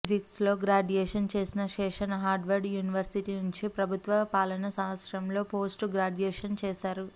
ఫిజిక్స్లో గ్రాడ్యుయేషన్ చేసిన Seshan Harvard university నుంచి ప్రభుత్వ పాలన శాస్త్రంలో పోస్ట్ గ్రాడ్యుయేషన్ చేశారు